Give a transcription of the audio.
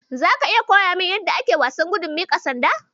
Zaka iya koya min yadda ake wasan gudun miƙa sanda?